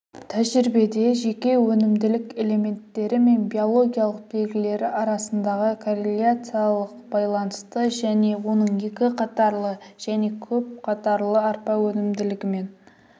тәжірибеде жеке өнімділік элементтері мен биологиялық белгілері арасындағы корреляциялық байланысты және оның екі қатарлы және көпқатарлы арпа өнімділігімен